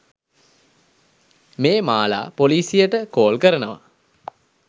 මේ මාලා පොලිසියට කෝල් කරනවා